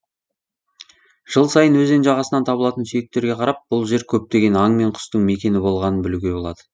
жыл сайын өзен жағасынан табылатын сүйектерге қарап бұл жер көптеген аң мен құстың мекені болғанын білуге болады